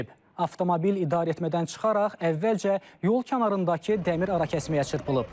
Avtomobil idarəetmədən çıxaraq əvvəlcə yol kənarındakı dəmir arakəsməyə çırpılıb.